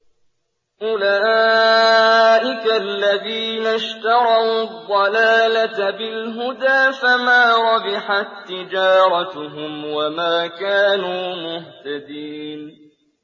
أُولَٰئِكَ الَّذِينَ اشْتَرَوُا الضَّلَالَةَ بِالْهُدَىٰ فَمَا رَبِحَت تِّجَارَتُهُمْ وَمَا كَانُوا مُهْتَدِينَ